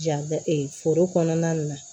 Ja foro kɔnɔna na